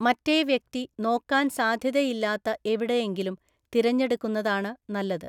മറ്റേ വ്യക്തി നോക്കാൻ സാധ്യതയില്ലാത്ത എവിടെയെങ്കിലും തിരഞ്ഞെടുക്കുന്നതാണ് നല്ലത്.